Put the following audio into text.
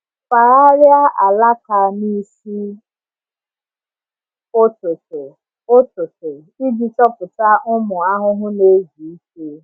Fagharịa alaka n’isi ụtụtụ ụtụtụ iji chọpụta ụmụ ahụhụ na-ezu ike.